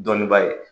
Dɔni ba ye